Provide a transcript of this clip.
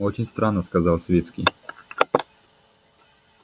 очень странно сказал свицкий